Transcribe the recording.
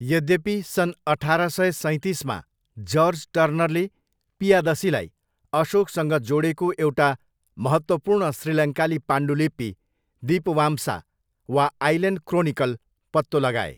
यद्यपि, सन् अठार सय सैँतिसमा जर्ज टर्नरले पियादसीलाई अशोकसँग जोडेको एउटा महत्त्वपूर्ण श्रीलङ्काली पाण्डुलिपि दीपवाम्सा वा 'आइल्यान्ड क्रोनिकल' पत्तो लगाए।